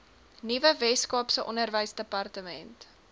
nuwe weskaapse onderwysdepartement